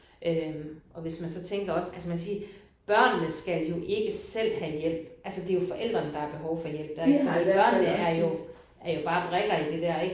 Øh og hvis man så tænker også altså man siger børnene skal jo ikke selv have hjælp altså det jo forældrene der har behov for hjælp der fordi børnene er jo er jo bare brikker i det der ik